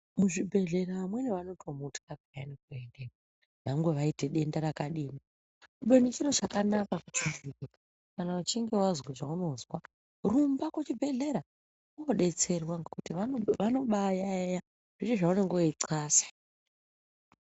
Muzvibhehlera vamweni vanotomutya peyani kuendeyo nyangwe vaite denda rakadini. Kubeni chiro chakanaka kuti kana uchinge wazwe zvaunozwa, rumba kuchibhehleya unodetserwa ngokuti vanombaiyayeya zvese zvaunenge weixasa.